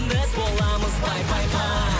біз боламыз пай пай пай